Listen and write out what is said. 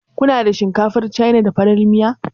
Ku na da shinkafar Cana, da farar miya?